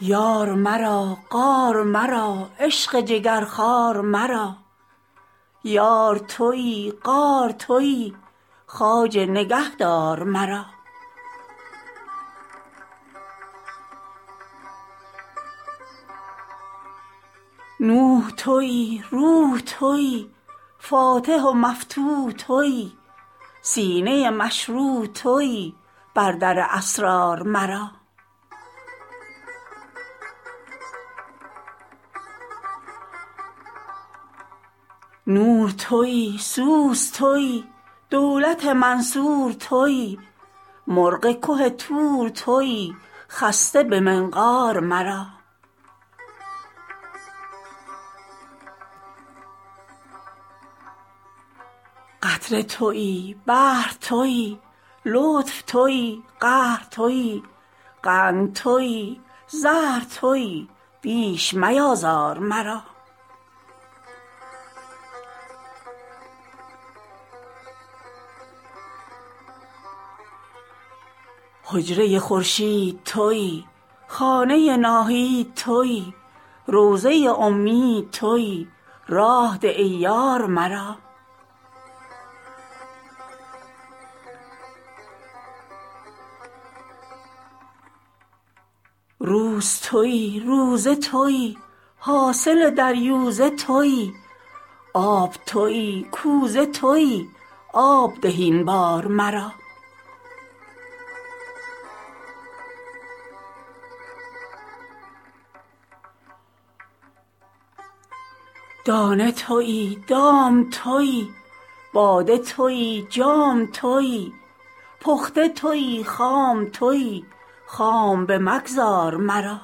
یار مرا غار مرا عشق جگرخوار مرا یار تویی غار تویی خواجه نگهدار مرا نوح تویی روح تویی فاتح و مفتوح تویی سینه مشروح تویی بر در اسرار مرا نور تویی سور تویی دولت منصور تویی مرغ که طور تویی خسته به منقار مرا قطره تویی بحر تویی لطف تویی قهر تویی قند تویی زهر تویی بیش میآزار مرا حجره خورشید تویی خانه ناهید تویی روضه امید تویی راه ده ای یار مرا روز تویی روزه تویی حاصل دریوزه تویی آب تویی کوزه تویی آب ده این بار مرا دانه تویی دام تویی باده تویی جام تویی پخته تویی خام تویی خام بمگذار مرا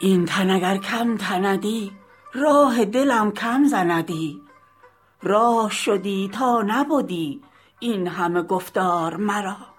این تن اگر کم تندی راه دلم کم زندی راه شدی تا نبدی این همه گفتار مرا